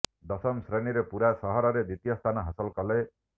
ଦଶମ ଶ୍ରେଣୀରେ ପୁରା ସହରରେ ଦ୍ୱିତୀୟ ସ୍ଥାନ ହାସଲ କଲେ